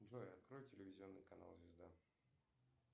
джой открой телевизионный канал звезда